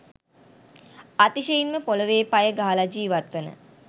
අතිශයින්ම පොළවෙ පය ගහලා ජීවත් වන